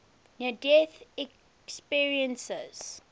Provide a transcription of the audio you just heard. near death experiences